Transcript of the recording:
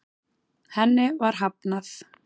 Henni var hafnað.